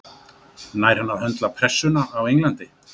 Nær hann að höndla pressuna á Englandi?